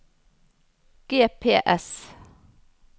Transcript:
GPS